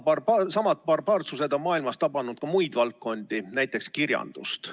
Samad barbaarsused on maailmas tabanud ka muid valdkondi, näiteks kirjandust.